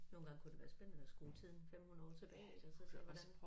Nogle gange kunne det være spændende at skrue tiden 500 år tilbage ik og så se hvordan